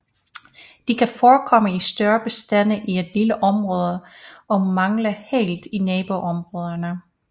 De kan forekomme i større bestande i et lille område og mangle helt i naboområder